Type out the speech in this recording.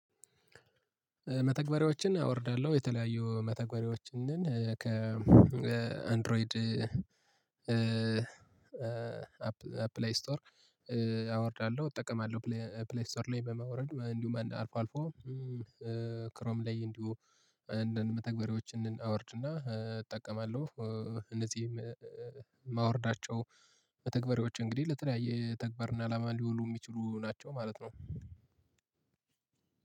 መተግበሪያዎችን አወርዳለሁ የተለያዩ መተግበሪያዎችን ንን ከአንድሮይድ ከፕላይ ስቶር አወርዳለሁ እጠቀማለሁ ፕላይ ስቶር ላይ በማውረድ እንዲሁ አልፎ አልፎ ክሮም ላይ እንዲሁ አንዳንድ መተግበሪዎች ንን አወርድና እጠቀማለሁ። እነዚህም እማወርዳቸው መተግበሪዎች እንግዲህ ለተለያየ ተግባርና አላማ ሊውሉ የሚችሉ ናቸው ማለት ነው።